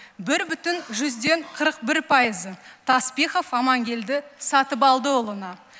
бір бүтін жүзден қырық бір пайызы таспихов аманкелді сатыбалдыұлына